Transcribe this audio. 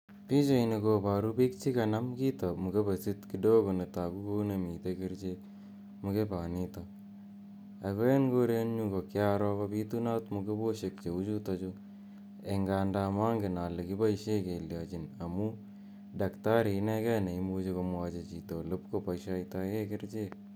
Pichaini koparu piik che kanam kito, mkebesit kidogo, ne tagu kole uni mitei kerichek mkebanitok. Ako eng' korenyu ko kiaroo kopitunat mkeboshek che u chutachu eng' anda mangen ale kipaishe keliachin amu daktari inekei ne muchi komwachi chito olepkopaishitae kerichek.